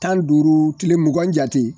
Tan ni duuru tile mugan jate.